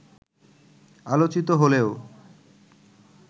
আলোচিত হলেও